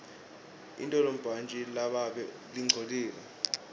intolibhantji lababe lingcolile